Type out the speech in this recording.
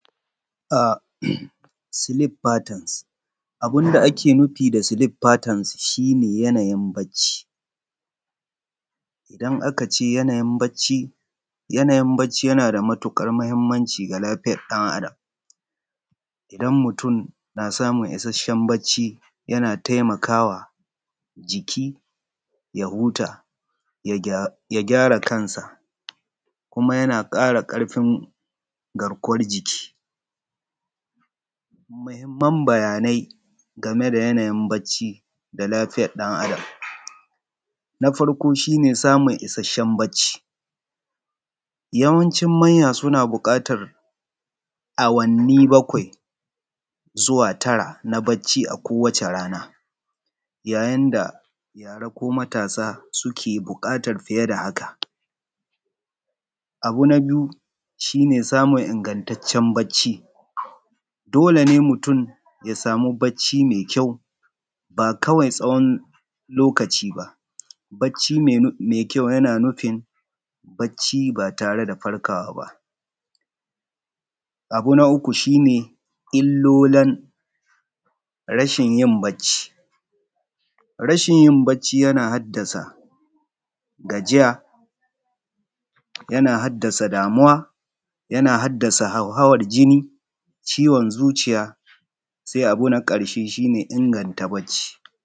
Sleep patterns, abun da ake nufi da sleep patterns shi ne yanayin bacci. Idan aka ce yanayin bacci, yana da mahimmanci fa lafiyar ɗan Adam isan mutum na samun isasshen bacci yana taimakawa jiki ya huta ya gyara kansa kuma yana ƙara karfi garkuwar jiki. Muhimman bayanai game da yanayin bacci ga lafiya ɗan Adam yana samun isasshen bacci, yawancin manya suna buƙatar awanni bakwai zuwa tara a kowacce rana; yayin da yara suke buƙatar fiye da haka. Abu na biyu shi ne samun ingantaccen bacci, dole ne mutum ya samu bacci mai ƙyau ba kawai tsawon lokaci ba. Bacci mai ƙyau yana nufin bacci ba tare da farkawa ba. Abu na uku shi ne illolan rashin yin bacci, rashin yin bacci yana haddasa gajiya, yana haddasa damuwa, yana haddasa hauhawar jini, ciwon zuciya. Sai abu na ƙarshe shi ne inganta bacci.